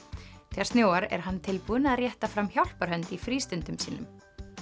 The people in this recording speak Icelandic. þegar snjóar er hann tilbúinn að rétta fram hjálparhönd í frístundum sínum